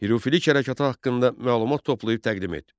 Hürufilik hərəkatı haqqında məlumat toplayıb təqdim et.